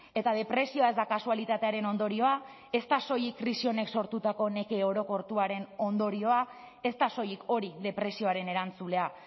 eta depresioa ez da kasualitatearen ondorioa ez da soilik krisi honek sortutako neke orokortuaren ondorioa ez da soilik hori depresioaren erantzulea